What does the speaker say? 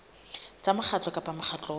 tsa mokgatlo kapa mokgatlo wa